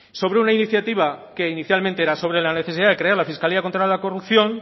sobre una iniciativa que inicialmente era sobre la necesidad de crear la fiscalía contra la corrupción